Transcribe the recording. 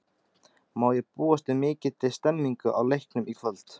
Má búast við mikilli stemningu á leiknum í kvöld?